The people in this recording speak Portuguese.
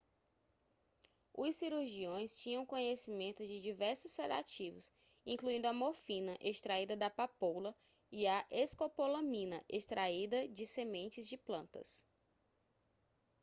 os cirurgiões tinham conhecimento de diversos sedativos incluindo a morfina extraída da papoula e a escopolamina extraída de sementes de plantas